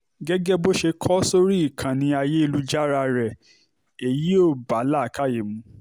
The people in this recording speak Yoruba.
gẹ́gẹ́ bó ṣe kó o sórí ìkànnì ayélujára rẹ èyí ò bá làákàyè mu